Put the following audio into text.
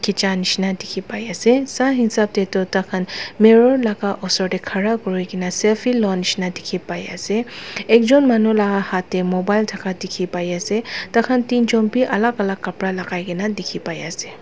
khicha nishina dikhipai ase sa hisap tae tu takhan mirol laka osor tae khara kurina selfie koa shina dikhipai ase ekjon manu laka hat tae mobile thaka dikhipai ase takhan teen jon bi alak alak kapra lakai na dikhi pai ase.